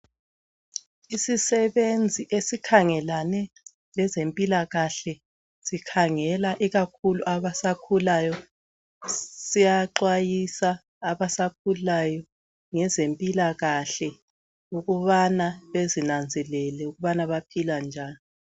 Isisebenzi esikhangelane lezempilakahle sikhangela ikakhulu abasakhulayo, siyaxwayisa abasakhulayo ngezempilakahle ukubana bezinanzelele ukubana baphila njani.